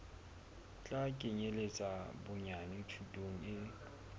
tla kenyeletsa bonyane thuto e